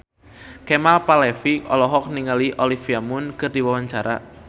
Kemal Palevi olohok ningali Olivia Munn keur diwawancara